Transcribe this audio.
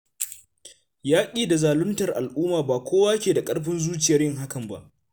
Yaƙi da zaluntar a'umma ba kowa ke da ƙarfin zuciyar yin hakan ba